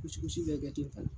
bɛ kɛ